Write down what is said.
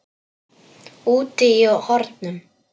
Úti í hornum.